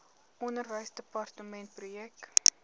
onderwysdepartementprojekte